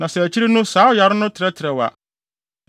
Na sɛ akyiri no saa ɔyare no trɛtrɛw a,